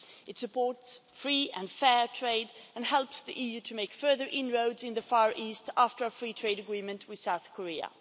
It supports free and fair trade and helps the EU to make further inroads in the Far East, after a free trade agreement with South Korea.